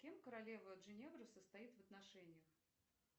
с кем королева джиневра состоит в отношениях